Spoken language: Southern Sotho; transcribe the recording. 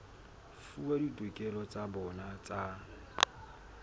fuwa ditokelo tsa bona tsa